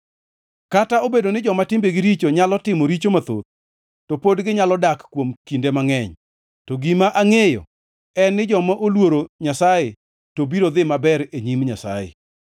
Kata obedo ni joma timbegi richo nyalo timo richo mathoth, to pod ginyalo dak kuom kinde mangʼeny, to gima angʼeyo en ni joma oluoro Nyasaye to biro dhi maber e nyim Nyasaye.